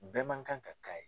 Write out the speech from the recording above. Bɛɛ ma kan ka k'a ye.